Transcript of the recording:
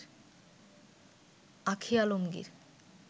Ankhi Alamgir